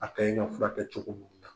A bɛɛ ye n ka fura kɛcogo